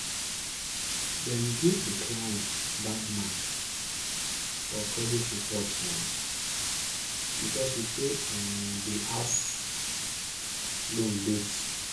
dem give de client bad mark for credit report um because e pay um de house loan late.